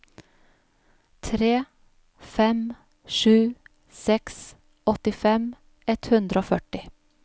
tre fem sju seks åttifem ett hundre og førti